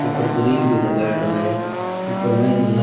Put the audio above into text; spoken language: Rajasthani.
ऊपर गिररिल भी लगाओड़ो है ऊपर म --